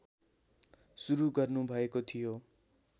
सुरु गर्नुभएको थियो